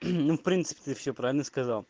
ну в принципе ты всё правильно сказал